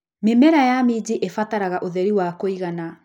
Mĩmera ya minji ibataraga ũtheri wa kũigana.